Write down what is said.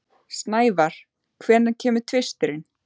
Snævar, hvenær kemur tvisturinn?